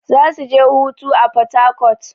Zasu je hutu a porharcourt.